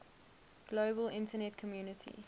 global internet community